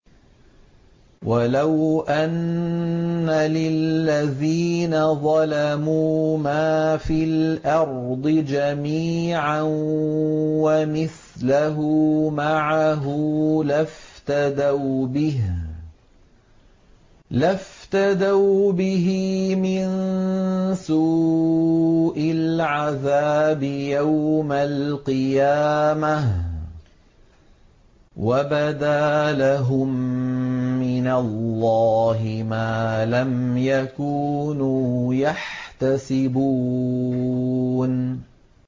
وَلَوْ أَنَّ لِلَّذِينَ ظَلَمُوا مَا فِي الْأَرْضِ جَمِيعًا وَمِثْلَهُ مَعَهُ لَافْتَدَوْا بِهِ مِن سُوءِ الْعَذَابِ يَوْمَ الْقِيَامَةِ ۚ وَبَدَا لَهُم مِّنَ اللَّهِ مَا لَمْ يَكُونُوا يَحْتَسِبُونَ